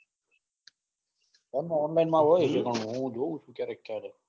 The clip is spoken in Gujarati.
ફોન માં online માં હોય છે. હું જોઉં છું. ક્યારેક ક્યારેક